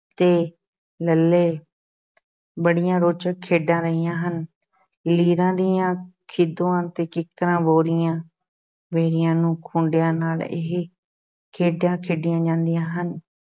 ਤੇ ਲੱਲ੍ਹੇ ਬੜੀਆਂ ਰੌਚਕ ਖੇਡਾਂ ਰਹੀਆਂ ਹਨ, ਲੀਰਾਂ ਦੀਆਂ ਖਿੱਦੋਆਂ ਅਤੇ ਕਿੱਕਰਾਂ ਬੋਰੀਆਂ ਬੇਰੀਆਂ ਨੂੰ ਖੂੰਡਿਆਂ ਨਾਲ ਇਹ ਖੇਡਾਂ ਖੇਡੀਆਂ ਜਾਂਦੀਆਂ ਹਨ।